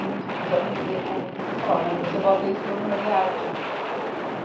E os, os amigos dele comunistas falavam, mas você bota isso, falou não mas é arte. e